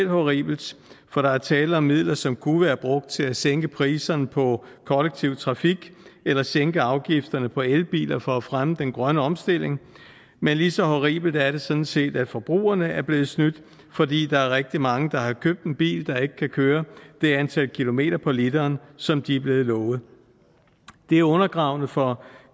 horribelt for der er tale om midler som kunne være brugt til at sænke priserne på kollektiv trafik eller sænke afgifterne på elbiler for at fremme den grønne omstilling men lige så horribelt er det sådan set at forbrugerne er blevet snydt fordi der er rigtig mange der har købt en bil der ikke kan køre det antal kilometer på literen som de er blevet lovet det er undergravende for